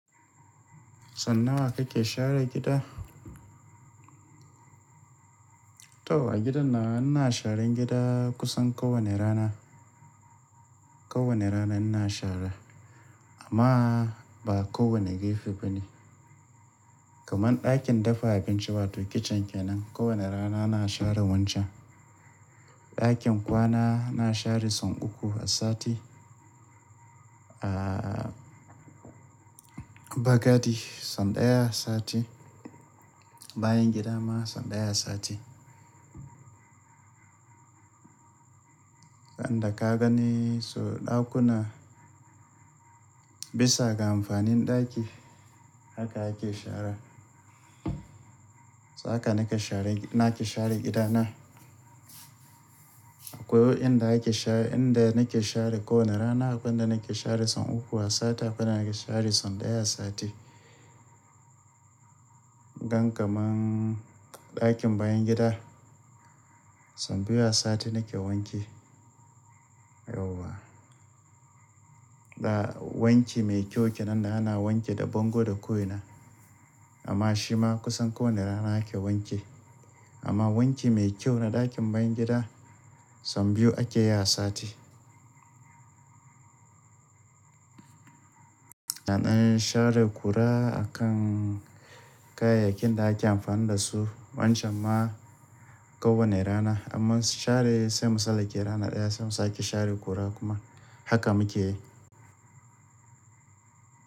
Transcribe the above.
San nawa kake share gida? To a gidan nan ina sharan gida kusan kowane rana. Kowane rana ina shara amma ba kowane gafe bane. Kaman ɗakin dafa abinci wato kicin kenan, kowane rana ina share wancan. Ɗakin kwana na share son uku a sati, a, bakati son ɗaya a sati, bayan gida ma son ɗaya a sati. Inda ka gani, so ɗakuna bisa ga amfanin ɗaki haka ake shara. Haka nake share, nake share gidana. Akwai wa inda ake share, inda nake share kowane rana akwai na nake share son uku a sati akwai na nake share son ɗaya a sati. Gan kaman ɗakin bayan gida son biyu a sati nake wanke. Yauwa. Da wanki mai kyau kenan da ana wanke da bango da koina. Amma shi ma kusan kowane rana ake wanke. Amma wanki mai kyau na ɗakin bayan gida son biyu ake yi a sati. Na dan share ƙura akan kayayyakin da ake amfani da su. Wancan ma kowane rana. Amma share sai mu sallake ranar ɗaya sai mu sake share ƙura kuma haka muke yi.